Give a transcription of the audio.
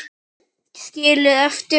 Skilið eftir?